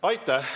Aitäh!